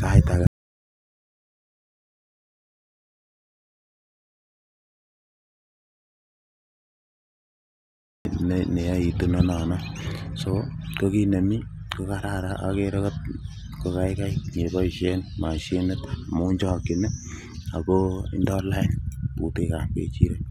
sait age neyoitu inonono so ko kit nemii kokararan okere kokaikai keboisien mashinit amun chokyin ih ako ndoo lain butek ab ng'echirek